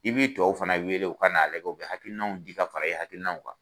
I b'i tɔw fana wele u ka n'a lajɛ u bɛ hakinaw di ka fara i hakilinaw kan.